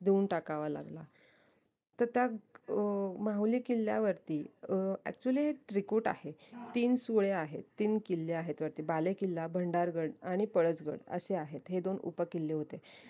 देऊन टाकावा लागला तर त्या अं माहुली किल्ल्यावरती अं actually त्रिकुट आहे तीन सुळे आहेत तीन किल्ले आहेत वरती बालेकिल्ला भंडारगड आणि पळसगड असे आहेत हे दोन उपकिल्ले होते